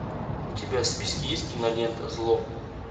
у тебя в списке есть кинолента зло